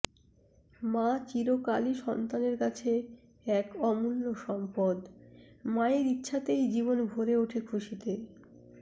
মা চিরকালই সন্তানের কাছে এক অমূল্য সম্পদ মায়ের ইচ্ছাতেই জীবন ভরে ওঠে খুশিতে